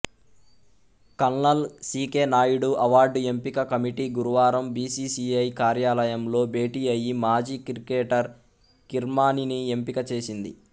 colonel C K Naidu award ఎంపిక committee గురువారం BCCI కార్యాలయంలో భేటీఅయి మాజీ క్రికెటర్ కిర్మాణీని ఎంపిక చేసింది